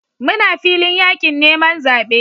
Muna filin yakin neman zabe